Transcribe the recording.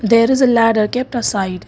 there is a ladder kept a side.